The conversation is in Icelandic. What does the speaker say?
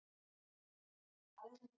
Að hamra járnið meðan heitt er